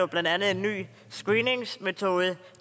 blandt andet en ny screeningsmetode